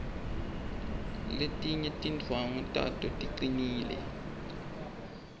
letinye tindwvangu tato ticinile